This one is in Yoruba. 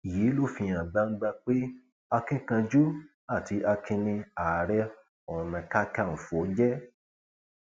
yìí ló fi hàn gbangba pé akínkanjú àti akin ni ààrẹ onakàkànfọ jẹ